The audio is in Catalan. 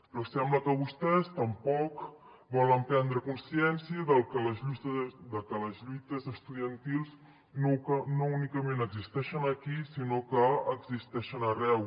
però sembla que vostès tampoc volen prendre consciència de que les lluites estudiantils no únicament existeixen aquí sinó que existeixen arreu